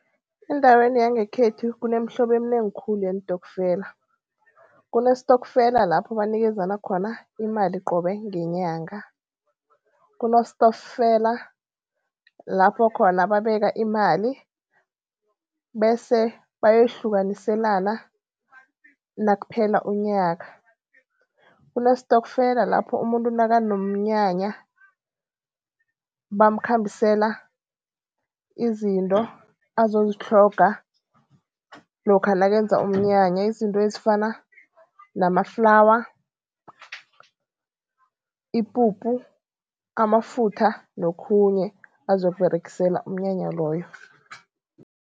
Endaweni yangekhethu kunemihlobo eminengi khulu yeentokfela. Kunestokfela lapho banikezana khona imali qobe ngenyanga, kunestokfela lapho khona babeka imali, bese bayoyihlukaniselana nakuphela unyaka, kunestokfela lapho umuntu nakunomnyanya bamkhambisela izinto azozitlhoga lokha nakenzeka umnyanya. Izinto ezifana namaflawa, ipuphu, amafutha nokhunye abazokUberegisela umnyanya loyo.